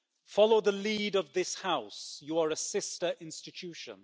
Follow the lead of this House, you are a sister institution.